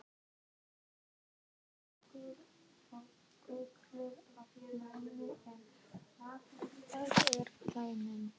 Þú ert duglegur og gull af manni en alltof viðkvæmur.